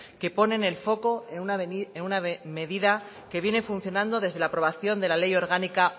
que ponen el foco en una medida que viene funcionando desde la aprobación de la ley orgánica